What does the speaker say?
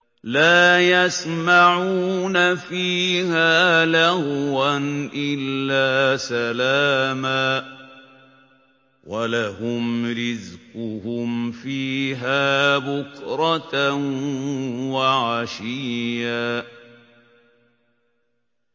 لَّا يَسْمَعُونَ فِيهَا لَغْوًا إِلَّا سَلَامًا ۖ وَلَهُمْ رِزْقُهُمْ فِيهَا بُكْرَةً وَعَشِيًّا